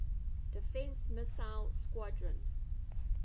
defense missile squadron